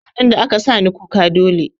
Sin ɗin da aka sani kuka dole